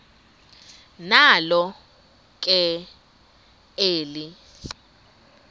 nalo ke eli